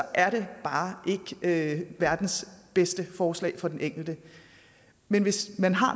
er det bare ikke verdens bedste forslag for den enkelte men hvis man har